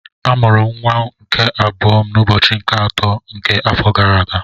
M mụrụ nwa m nke abụọ n'ụbọchị nke atọ nke afọ gara aga